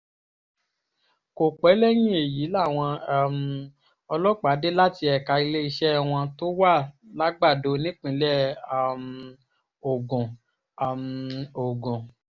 kò pẹ́ lẹ́yìn èyí làwọn um ọlọ́pàá dé láti ẹ̀ka iléeṣẹ́ wọn tó wà làgbàdo nípínlẹ̀ um ogun um ogun